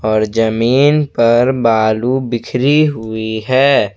और जमीन पर बालू बिखरी हुई है।